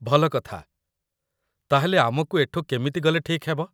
ଭଲ କଥା । ତା'ହେଲେ ଆମକୁ ଏଠୁ କେମିତି ଗଲେ ଠିକ୍ ହେବ?